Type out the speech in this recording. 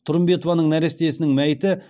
тұрымбетованың нәрестесінің мәйіті